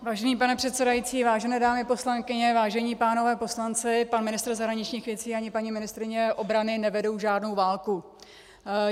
Vážený pane předsedající, vážené dámy poslankyně, vážení pánové poslanci, pan ministr zahraničních věcí ani paní ministryně obrany nevedou žádnou válku.